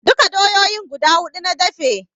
Duka doyoyin guda huɗu na dafe